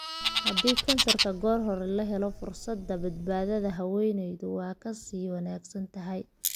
Haddii kansarka goor hore la helo, fursadda badbaadada haweeneydu waa ka sii wanaagsan tahay.